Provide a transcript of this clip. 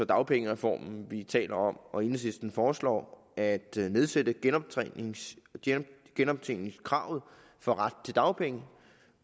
dagpengereformen som vi taler om nu enhedslisten foreslår at nedsætte genoptjeningskravet for retten til dagpenge